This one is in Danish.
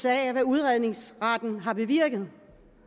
af hvad udredningsretten har bevirket